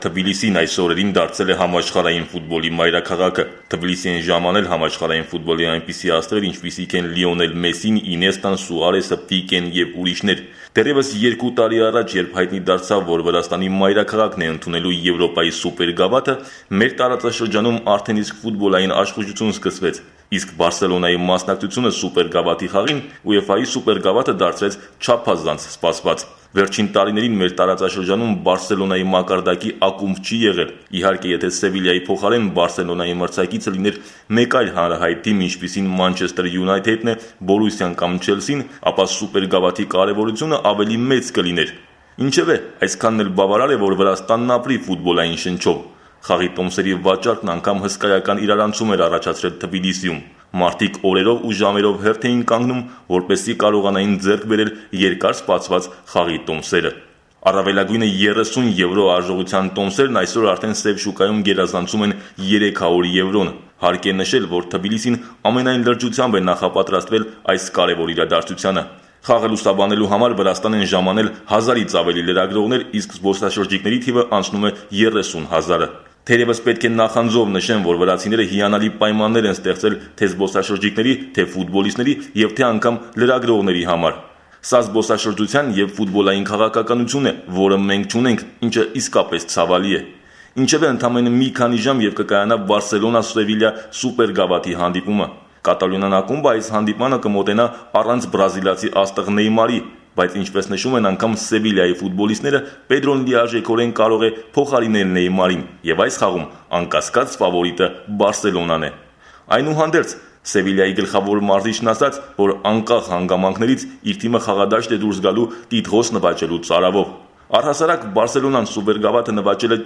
Թբիլիսին այս օրերին դարձել է համաշխարհային ֆուտբոլի մայրաքաղաքը: Վրաստանի մայրաքաղաք են ժամանել համաշխարհային ֆուտբոլի այնպիսի աստղեր, ինչպիսիք են Մեսսին, Ինեստան, Սուարեսը, Պիկեն… Դեռևս 2 տարի առաջ, երբ հայտնի դարձավ, որ Վրաստանի մայրաքաղաքն է ընդունելու Եվրոպայի սուպերգավաթը, մեր տարածաշրջանում արդեն իսկ ֆուտբոլային աշախուժություն սկսվեց, իսկ «Բարսելոնայի» մասնակցությունը սուպերգավաթի խաղին ՈՒԵՖԱ-ի սուպերգավաթը դարձրեց չափազանց սպասված: Վերջին տարիներին մեր տարածաշրջանում «Բարսելոնայի» մակարդակի ակումբ չի եղել: Իհարկե՝ եթե «Սևիլիայի» փոխարեն «Բարսելոնայի» մրցակիցը լիներ մեկ այլ հանրահայտ թիմ, ինչպիսին «Մանչեստր Յունայթեդը», «Բորուսիան» կամ «Չելսին» են, ապա սուպերգավաթի կարևորությունը ավելի մեծ կլիներ: Ինչևէ, այսքանն էլ բավարար է որ Վրաստանն ապրի ֆուտբոլային շնչով: Խաղի տոմսերի վաճառքն անգամ հսկայական իրարանցում էր առաջացրել Թբիլիսիում: Մարդիկ օրերով ու ժամերով հերթ էին կանգնում, որպեսզի կարողանան ձեռք բերել երկար սպասված խաղի տոմսեր: Առավելագույնը 30 եվրո արժողության տոմսերը այսօր արդեն սև շուկայում գերազանցում են 300 եվրոն: Հարկ է նշել, որ Թբիլիսին ամենայն լրջությամբ է նախապատրաստվել այս կարևոր իրադարձությանը: Խաղը լուսաբանելու համար Վրաստան են ժամանել 1000- ից ավելի լրագրողոներ, իսկ զբոսաշրջիկների թիվը անցնում է 30 հազարը: Թերևս պետք է նախանձով նշեմ, որ վրացիները հիանալի պայմաններ են ստեղծել թե զբոսաշրջիկների, թե ֆուտբոլիստների, թե լրագրողների համար: Սա զբոսաշրջության և ֆուտբոլային քաղաքակրթություն է, որը մենք չունենք, ինչը իսկապես ցավալի է: Ընդամենը մի քանի ժամ և կկայանա «Բարսելոնա»- «Սևիլիա» սուպերգավաթի հանդիպումը։ Կատալոնյան ակումբը այս հանդիպումը կանցկացնի առանց բրազիլացի աստղ Նեյմարի, բայց, ինչպես նշում են անգամ «Սևիլիայի» ֆուտբոլիստները, Պեդրոն լիարժեքորեն կարող է փոխարինել Նեյմարին և այս խաղում անկասկած ֆավորիտը «Բարսելոնան» է: Այնուհանդերձ՝ «Սևիլիայի» գլխավոր մարզիչն ասաց, որ անկախ հանգամանքներից իր թիմը խաղադաշտ է դուրս գալու սուպերգավաթը նվաճելու վճռականությամբ։ Առհասարակ «Բարսելոնան» սուպերգավաթը նվաճել է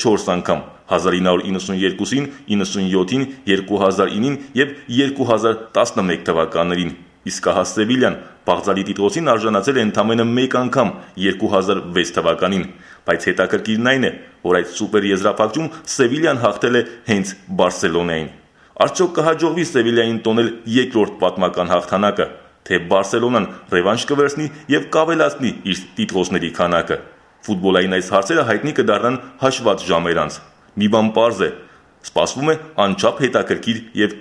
4 անգամ՝ 1992, 1997,2009 և 2011 թվականներին: Իսկ ահա «Սևիլիան» բաղձալի տիտղոսին արժանացել է ընդամենը մեկ անգամ՝ 2006 թվականին, բայց հետաքրքիրն այն է, որ այդ սուպեր եզրափակչում «Սևիլիան» հաղթել է հենց «Բարսելոնային»: Արդյո՞ք կհաջողվի «Սևիլիային» տոնել 2-րդ պատմական հաղթանակը, թե՞ «Բարսելոնան» ռևանշ կվերցնի և կավելացնի իր տիտղոսների քանակը։ Ֆուտբոլային այս հարցերի պատասխանը հայտնի կդառնա հաշված ժամեր անց: Մի բան պարզ է՝ սպասվում է անչափ հետաքրքիր և